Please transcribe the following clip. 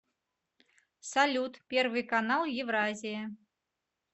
салют первый канал евразия